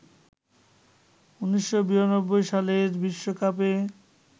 ১৯৯২ সালের বিশ্বকাপে